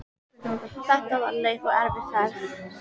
Þetta var löng og erfið ferð.